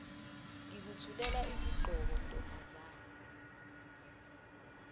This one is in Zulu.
ngikuthulela isigqoko ntombazane